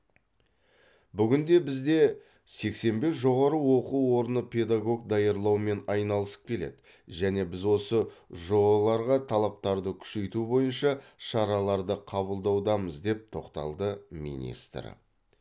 бүгінде бізде сексен бес жоғары оқу орны педагог даярлаумен айналысып келеді және біз осы жоо ларға талаптарды күшейту бойынша шараларды қабылдаудамыз деп тоқталды министр